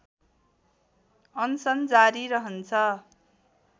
अनसन जारी रहन्छ